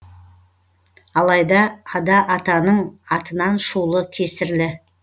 алайда ада атаның атынан шулы кесірлі